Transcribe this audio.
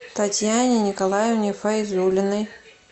татьяне николаевне файзуллиной